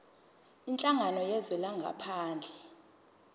kwinhlangano yezwe langaphandle